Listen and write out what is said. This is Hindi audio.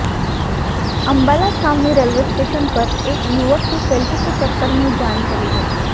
अम्बाला छावनी रेलवे स्टेशन पर एक युवक की सेल्फी के चक्कर में जान चली गई